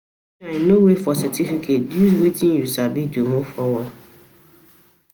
no wait for certificate; use wetin you sabi to move forward.